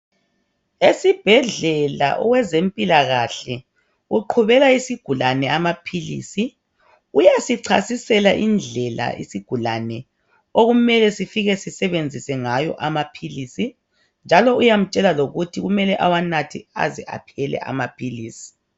Esibhedlela owezempilakahke uqhubela isigulane amaphilisi uyasichasisela indlela isigulane okumele sifike sisebenzise ngayo amaphilisi njalo uyamtshela lokuthi kumele ewanathe aze aphele amaphilisi.